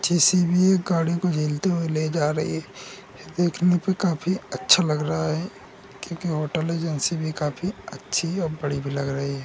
जे C B एक गाड़ी को ढेलते हुए ले जा रही है। देखने में काफ़ी अच्छा लग रहा है क्योंकि होटल एजेंसी भी काफ़ी अच्छी और बड़ी भी लग रही है।